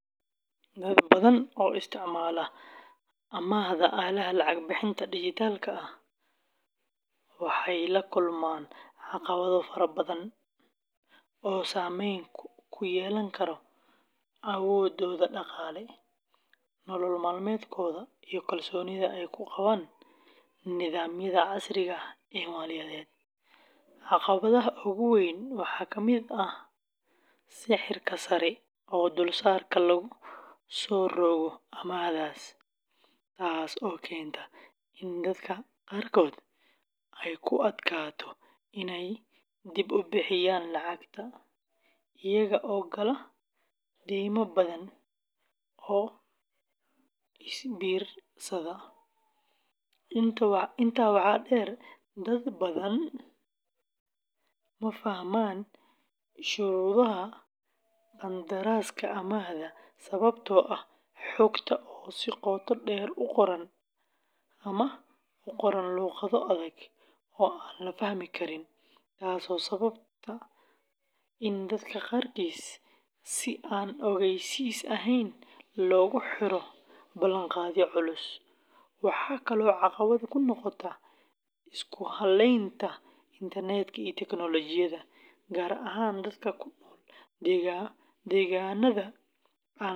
Dad badan oo isticmaala amaahda aaladaha lacag-bixinta dijitaalka ah waxay la kulmaan caqabado fara badan oo saamayn ku yeelan kara awooddooda dhaqaale, nolol maalmeedkooda, iyo kalsoonida ay ku qabaan nidaamyada casriga ah ee maaliyadeed. Caqabadaha ugu waaweyn waxaa ka mid ah sicirka sare ee dulsaarka lagu soo rogo amaahdaas, taas oo keenta in dadka qaarkood ay ku adkaato inay dib u bixiyaan lacagta, iyaga oo gala deyma badan oo is biirsata. Intaa waxaa dheer, dad badan ma fahmaan shuruudaha qandaraaska amaahda sababtoo ah xogta oo si qoto dheer u qoran ama ku qoran luqado adag oo aan la fahmi karin, taasoo sababta in dadka qaarkiis si aan ogeysiis ahayn loogu xiro ballanqaadyo culus. Waxaa kaloo caqabad ku noqda isku halaynta internet-ka iyo tiknoolajiyadda, gaar ahaan dadka ku nool deegaannada aan lahayn.